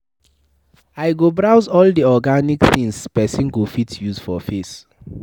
I go browse all the organic things person go fit use for face.